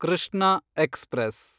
Krishna express